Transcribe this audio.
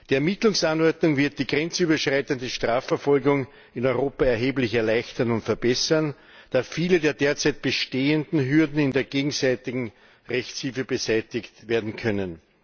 Die Ermittlungsanordnung wird die grenzüberschreitende Strafverfolgung in Europa erheblich erleichtern und verbessern, da viele der derzeit bestehenden Hürden in der gegenseitigen Rechtshilfe beseitigt werden können.